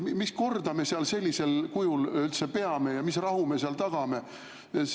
Mis korda me seal sellisel kujul üldse peame ja mis rahu me tagame?